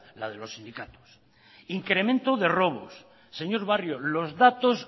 la de los sindicatos incremento de robos señor barrio los datos